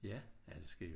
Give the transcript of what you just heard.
Ja ja det sker jo